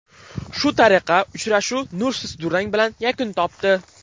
Shu tariqa uchrashuv nursiz durang bilan yakun topdi.